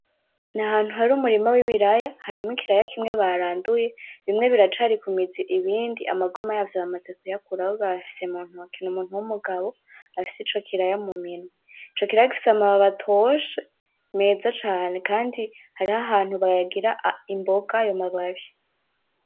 Ni ahantu hari umurima wibiraya harimwo ikiraya kimwe baranduye, bimwe biracari ku mizi, ibindi amagoma yavyo bamaze kuyakura bayafise mu ntoki ni umuntu wumugabo afise ico kiraya mu minwe. Ico kiraya gifise amababi atoshe meza cane kandi hariho ahantu bayagira imboga ayo mababi.